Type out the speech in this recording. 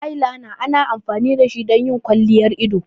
Eyeliner ana amfani da shi don yin kwalliyar ido.